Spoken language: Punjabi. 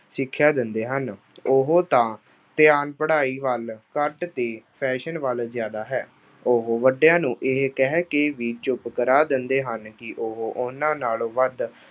ਸਿੱਖਿਆ ਦਿੰਦੇ ਹਨ। ਉਹ ਤਾਂ ਧਿਆਨ ਪੜ੍ਹਾਈ ਵੱਲ ਘੱਟ ਤੇ fashion ਵੱਲ ਜ਼ਿਆਦਾ ਹੈ। ਉਹ ਵੱਡਿਆਂ ਨੂੰ ਇਹ ਕਹਿ ਕੇ ਵੀ ਚੁੱਪ ਕਰਾ ਦਿੰਦੇ ਹਨ ਕਿ ਉਹ ਉਨ੍ਹਾਂ ਨਾਲੋਂ ਵੱਧ